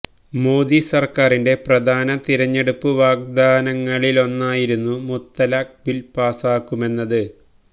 മോദി സര്ക്കാറിന്റെ പ്രധാന തിരഞ്ഞെടുപ്പ് വാഗ്ദാനങ്ങളിലൊന്നായിരുന്നു മുത്തലാഖ് ബില് പാസാക്കുമെന്നത്